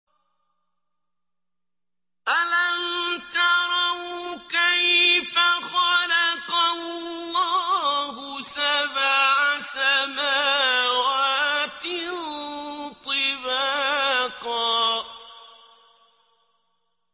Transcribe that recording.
أَلَمْ تَرَوْا كَيْفَ خَلَقَ اللَّهُ سَبْعَ سَمَاوَاتٍ طِبَاقًا